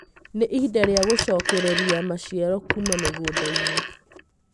Nĩ ihinda rĩa gũcokereria maciaro kuuma mĩgũnda-inĩ.